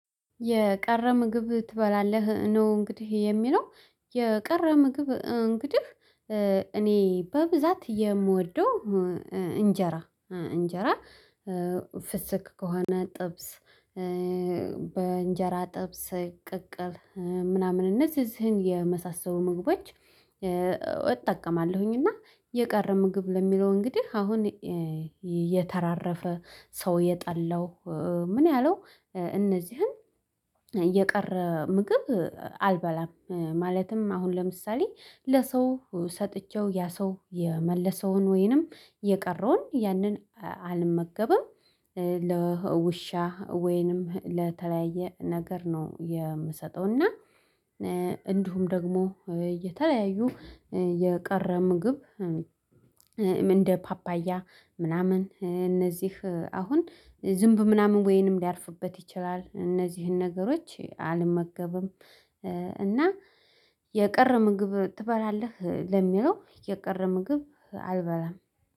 የቀረ ምግብ ትበላለህ ነው እንግዲህ የሚለው? የቀረ ምግብ እንግዲህ እኔ በብዛት የምወደው እንጀራ እንጀራ ፍስክ ከሆነ ጥብስ እንጀራ ጥብስ ቅቅል ምናምን እነዚህን የመሳሰሉ ምግቦች እጠቀማለሁ። እና የቀረ ምግብ ለሚለው አሁን እንግዲህ የተራረፈ ሰው የጠላው ምን ያለው እንዚህን የቀረ ምግብ አልበላም ማለትም አሁን ለምሳሌ ለሰው ሰጥቼ ያሰው የመለሰውን ወይም የቀረውን ያንን አልመገብም። ለውሻ ወይም ለተለያየ ነገር ነው የሚሰጠው። እና እንዲሁም ደግሞ የተለያዩ የቀረ ምግብ እንደ ፓፓያ ምናምን እንዚህ አሁን ዝምብ ምናምን ሊያርፍበት ይችላል እንዚህን ነገሮች አልመገብም። የቀረ ምግብ ትበላለህ ለሚለው የቀረ ምግብ አልበላም።